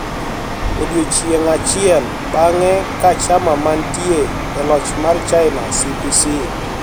Odiechieng` achiel bang`e ka chama mantie e loch mar China CPC